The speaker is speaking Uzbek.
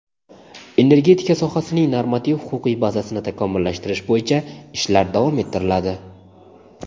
energetika sohasining normativ-huquqiy bazasini takomillashtirish bo‘yicha ishlar davom ettiriladi.